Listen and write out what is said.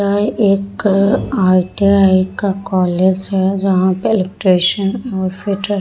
यह एक अअ आई.टी.आई. का कॉलेज है जहाँ पे इलेक्ट्रीशियन और फिटर --